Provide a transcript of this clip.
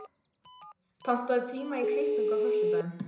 Pálmi, pantaðu tíma í klippingu á föstudaginn.